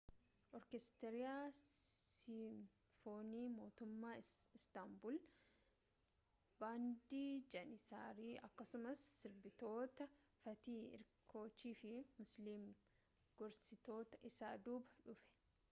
oorkeestiraa siimfoonii mootummaa istaanbul baandii jaaniisarii akkasumas sirbitoota faatih erkoochii fi muslum gursestu isa duuba dhufe